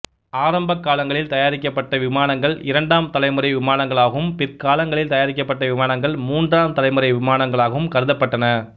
ஆரம்ப காலங்களில் தயாரிக்கப்பட்ட விமானங்கள் இரண்டாம் தலைமுறை விமானங்களாகவும் பிற்காலங்களில் தயாரிக்கப்பட்ட விமானங்கள் மூன்றாம் தலைமுறை விமானங்களாகவும் கருதப்பட்டன